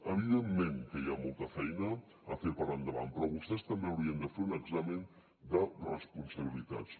evidentment que hi ha molta feina a fer per endavant però vostès també haurien de fer un examen de responsabilitats